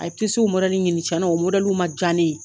A ye tisiw mɔdɛli ɲini, tiɲɛna , o mɔdɛliw ma diya ne ye.